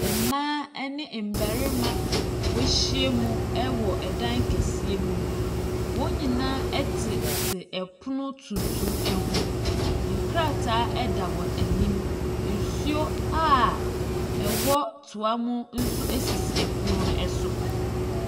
Mmaa ɛne mmɛrima wahyia mu ɛwɔ ɛdan kɛseɛ mu, wɔnyinaa ɛtete ɛpono tuntum ɛho. Nkrataa ɛda wɔn anim, nsuo a ɛwɔ toa mu nso esisi ɛpono no ɛso.